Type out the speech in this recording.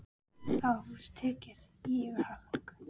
Þá var húsið tekið í yfirhalningu.